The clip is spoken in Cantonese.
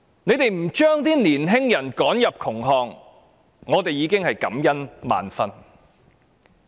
不把青年人趕進窮巷，我們已感恩萬分了。